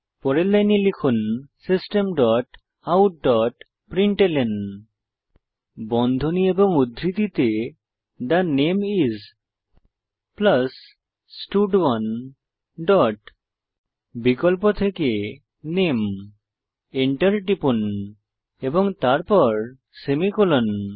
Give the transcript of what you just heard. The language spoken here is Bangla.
পরের লাইনে লিখুন system dot out dot println বন্ধনী এবং উদ্ধৃতিতে থে নামে আইএস স্টাড1 ডট বিকল্প থেকে নামে এন্টার টিপুন এবং তারপর সেমিকোলন